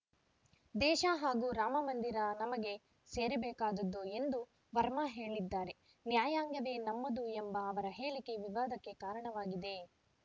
ದೇಶ ಹಾಗೂ ರಾಮ ಮಂದಿರ ನಮಗೆ ಸೇರಬೇಕಾದುದು ಎಂದು ವರ್ಮಾ ಹೇಳಿದ್ದಾರೆ ನ್ಯಾಯಾಂಗವೇ ನಮ್ಮದು ಎಂಬ ಅವರ ಹೇಳಿಕೆ ವಿವಾದಕ್ಕೆ ಕಾರಣವಾಗಿದೆ